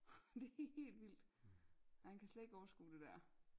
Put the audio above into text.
Det helt vildt han kan slet ikke overskue det der